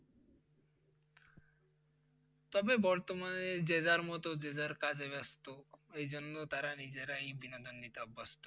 তবে বর্তমানে যে যার মতো যে যার কাজে ব্যাস্ত এই জন্য তারা নিজেরাই বিনোদন নিতে অভ্যস্ত